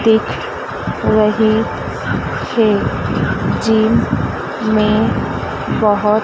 दिख रही है जिम में बहोत--